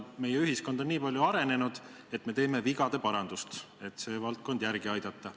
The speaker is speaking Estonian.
Meie ühiskond on nii palju arenenud, et teeme vigade parandust, et see valdkond järele aidata.